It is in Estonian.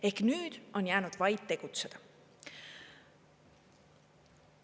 Ehk nüüd on jäänud vaid tegutseda.